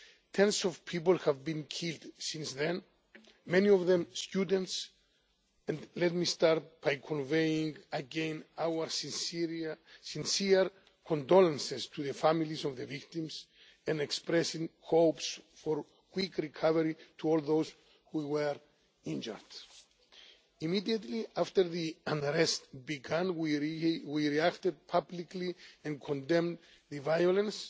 Tens of people have been killed since then, many of them students. Let me start by conveying again our sincere condolences to the families of the victims, and expressing hopes for a quick recovery to all those who were injured. Immediately after the unrest began, we reacted publicly and condemned the violence.